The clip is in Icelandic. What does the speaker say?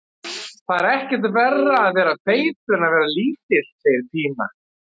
Það er ekkert verra að vera feitur en að vera lítill, segir Pína.